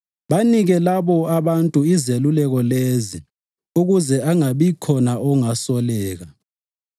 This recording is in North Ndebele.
Banike labo abantu izeluleko lezi ukuze angabikhona ongasoleka.